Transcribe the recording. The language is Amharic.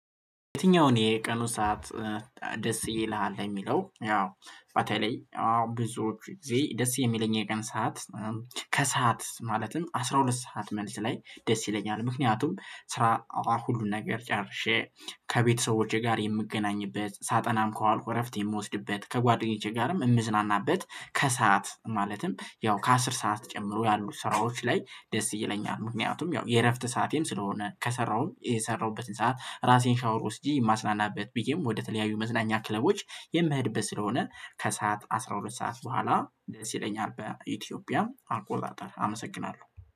የትኛውን የቀኑ ሰዓት ደስ ይልሃል? ለሚለው ያው ባተላይ ብዙዎቹ ጊዜ ደስ የሚለኝ የቀን ሰዓት፤ ከሰአት ማለትም አስራ ሁለት ሰዓት መልስ ላይ ደስ ይለኛል። ምክንያቱም ስራ ሁሉን ነገር ጨርሼ ከቤተሰቦቼ ጋር የምገናኝበት፤ ሳጠናም ከዋልኩ እረፍት የምወስድበት፤ ከጓደኞቼ ጋርም የምዝናናበት፤ ከሰአት ማለትም ያው ከአስር ሰዓት ጨምሮ ያሉ ስራዎች ላይ ደስ ይለኛል፤ ምክንያቱም ያው የእረፍት ሰዓቴም ስለሆነ፤ ከሰራሁም የሰራሁበትን ሰዓት ራሴን ሻወር ወስጄ የማስናናበት፤ ብዬም ወደተለያዩ መዝናኛ ክለቦች የምህድበት ስለሆነ፤ ከሰአት አስራ ሁለት ሰዓት በኋላ ስል በኢትዮጵያ አቆጣጠር አመሰግናለሁ።